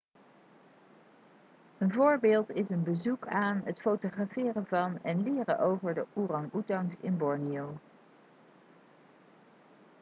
een voorbeeld is een bezoek aan het fotograferen van en leren over de orang-oetangs in borneo